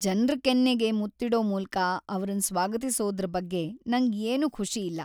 ಜನ್ರ ಕೆನ್ನೆಗೆ ಮುತ್ತಿಡೊ ಮೂಲ್ಕ ಅವ್ರನ್ ಸ್ವಾಗತಿಸೋದ್ರ ಬಗ್ಗೆ ನಂಗ್ ಏನು ಖುಷಿ ಇಲ್ಲ.